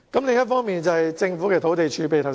另一方面，是政府的土地儲備問題。